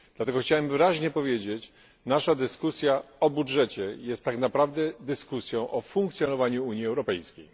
Dlatego chciałbym wyraźnie powiedzieć nasza dyskusja o budżecie jest tak naprawdę dyskusją o funkcjonowaniu Unii Europejskiej.